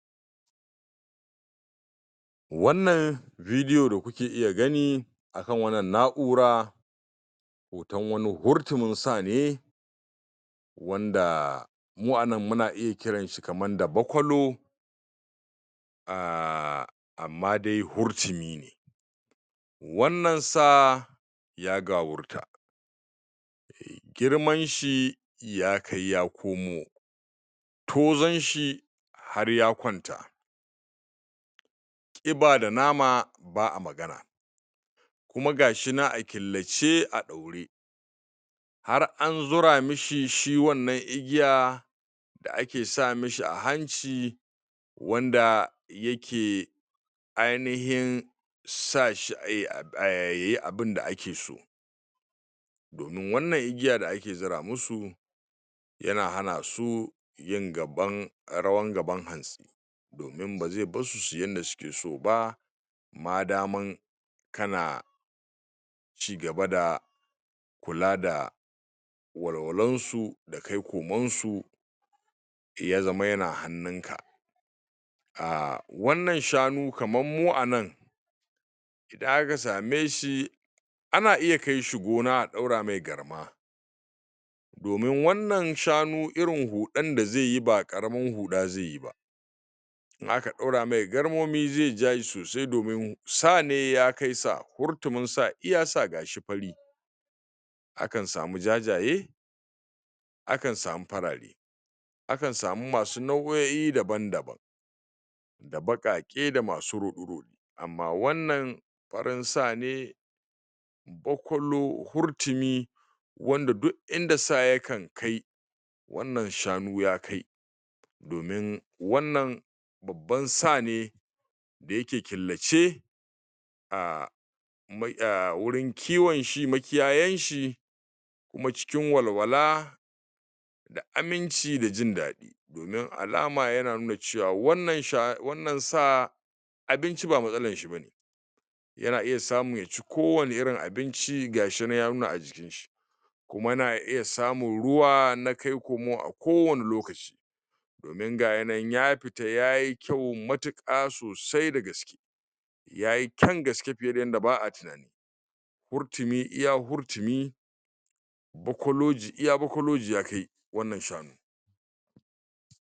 Domin tabbatar da ci gaban kai Da kuma ganin cewa hakan yana da mahimmanci a rayuwa Akwai wasu mahimman abubuwa Da dole mutum Ya fahimta, kuma ya aikata Dole ne mutum ya fahimci cewa Cigaban kai, yana da matukar mahimmanci a rayuwa Idan mutum bai cigaba ba, Zai iya kasancewa a wuri guda Na tsawon lokaci Ba tare da samun wani gagarumin cigaba ba Duniya, tana chanza wa koda yaushe Kuma idan mutum bai Ba Zai bar baya da ƙure Illimi Yana ɗaya daga cikin jigon cigaban kai Mutum ya zama mai karanta littatafai Sauraron malamai Illimi Yana faɗaɗa tunani kuma yana ƙara basira Dole ne mutum Yasan inda yake son zuwa a rayuwa Idan mutum bai bi Idan mutum baida guri Ko manufa Zai yi wahala Ya cigaba Saita manufofi Na gajerun Lokaci, Dana dogon lokaci Yana taimaka wa mutum, wajen samun jagora Da kuma sanin matakin daya kamata ya ɗauka Rayuwa Tana buƙatar sabbin Illimai Ko yaushe Mutum ya kasance Da buɗaɗiyar zuciya wajen koyon sabbin fasahohi Sanao'i Da dabaru Masu amfani Akwai matsaloli da dama Da mutum zai fuskanta a rayuwa Amma wanda yake son cigaba Baya tsoron Matsala Yana fuskantar ta Kuma yana neman mafita Haka kuma idan mutum yayi kuskure Yakamata ya koya, daga gareshi Ba tare da yanke ƙauna ba Babu wani abu dake zuwa da sauƙi A rayuwa Duk wanda ke son cigaba Dole ne ya dage, kuma ya jajirce Aiki tuƙuru yana hana mutum dogara Da sa'a Yana hana mutum do.. gara ga sa'a kawai Saidai ya dogara da ƙoƙarinsa Cigaban kai Ya.. Bai Cigaban kai baya Tsayawa kan illimi da basira kawai Dole ne mutum Ya kula da lafiyarsa Ta jiki Da, ta kwakwalwa Lafiyar jiki Da kwanciyar hankali suna taimaka wa mutum Wajen samun karfin Da kuzari Cigaban kai yana buƙatar Himma Illimi Manufa Da kuma jajircewa Idan mutum ya tsaya da zuciyarsa akan cigaba Kuma yabi matakan da suka dace Babu shakka Zai samu nasara a rayuwarsa